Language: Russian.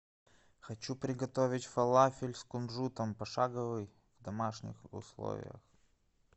хочу приготовить фалафель с кунжутом пошаговый в домашних условиях